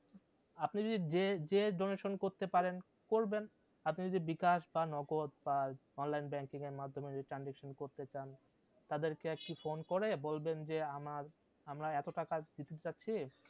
আপনি যদি যেয়ে যেয়ে donation করতে পারেন করবেন, আপনি যদি বিকাশ বা নগদ বা online banking এর মাধ্যমে যদি transaction করতে চান, তাদের কে একটি phone করে বলবেন আমার আমরা এত টাকা দিতে চাইছি